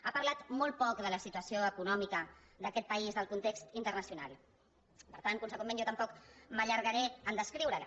ha parlat molt poc de la situació econòmica d’aquest país del context internacional per tant consegüentment jo tampoc m’allargaré a descriure la